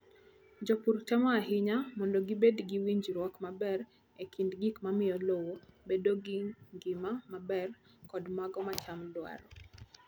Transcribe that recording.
Jopur temo ahinya mondo gibed gi winjruok maber e kind gik mamiyo lowo bedo gi ngima maber kod mago ma cham dwaro.